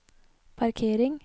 parkering